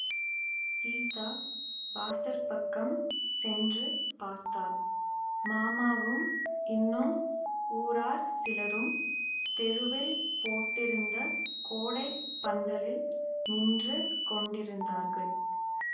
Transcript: சீதா வாசற்பக்கம் சென்று பார்த்தாள் மாமாவும் இன்னும் ஊரார் சிலரும் தெருவில் போட்டிருந்த கோடைப் பந்தலில் நின்று கொண்டிருந்தார்கள்